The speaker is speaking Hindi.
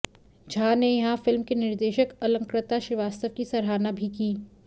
झाा ने यहां फिल्म की निर्देशक अलंकृता श्रीवास्तव की सराहना भी की